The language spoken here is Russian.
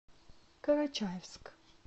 карачаевск